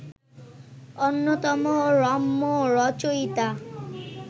অন্যতম রম্যরচয়িতা